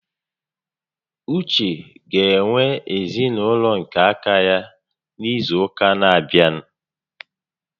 Uche ga-enwe ezinaụlọ nke aka ya n'izu ụka n'abịa